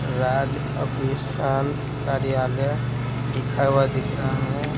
राज अभीसान कार्यालय लिखा हुआ दिख रहा है।